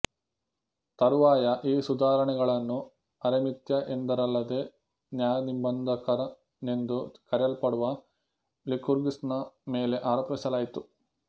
ತರುವಾಯ ಈ ಸುಧಾರಣೆಗಳನ್ನು ಅರೆಮಿಥ್ಯ ಎಂದರಲ್ಲದೇ ನ್ಯಾಯನಿಂಬಂಧಕಾರನೆಂದು ಕರೆಯಲ್ಪಡುವ ಲಿಕುರ್ಗಸ್ ನ ಮೇಲೆ ಆರೋಪಿಸಲಾಯಿತು